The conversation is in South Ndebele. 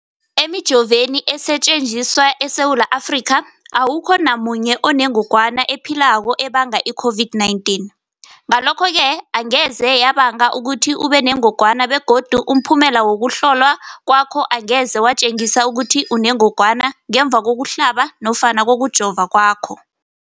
Emijoveni esetjenziswa eSewula Afrika, awukho namunye onengog wana ephilako ebanga i-COVID-19. Ngalokho-ke angeze yabanga ukuthi ubenengogwana begodu umphumela wokuhlolwan kwakho angeze watjengisa ukuthi unengogwana ngemva kokuhlaba nofana kokujova kwakho.